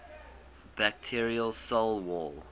bacterial cell wall